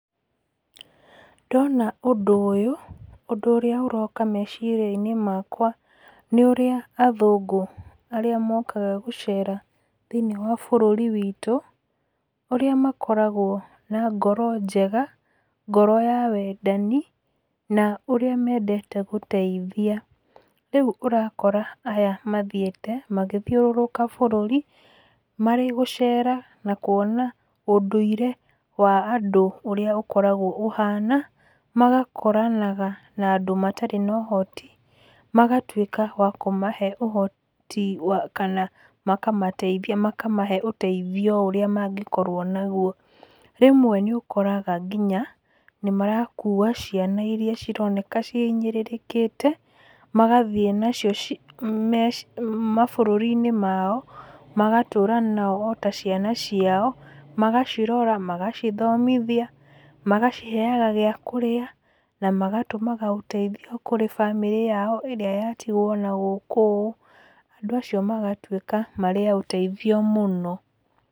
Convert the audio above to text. Ndona ũndũ ũyũ, ũndũ ũrĩa ũroka meciria-inĩ makwa nĩ ũrĩa athũngũ arĩa mokaga gũcera thĩiniĩ wa bũrũri wĩtũ, ũrĩa makoragwo na ngoro njega, ngoro ya wendani na ũrĩa mendete gũteithia. Rĩu ũrakora aya mathiĩte magĩthiũrũka bũrũri marĩ gũcera, na kuona ũndũire wa andũ ũrĩa ũkoragwo ũhana magakoranaga na andũ matarĩ na ũhoti , magatwĩka a kũmahe ũhoti kana makamateithia, makamahe ũteithio ũrĩa mangĩkorwo naguo. Rĩmwe nĩũkoraga nginya nĩma kua ciana irĩa cironeka cihinyĩrĩrĩkĩte magathiĩ nacio mabũrũri-inĩ mao magatũra nao o ta ciana ciao, magacirora, magacithomithia, magaciheaga gĩa kũrĩa na magatũmaga ũteithio kũrĩ bamĩrĩ yao ĩrĩa yatigwo na gũkũ ũũ, andũ acio magatuĩka marĩ a ũteithio mũno.